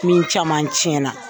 Min caman tiɲɛ na.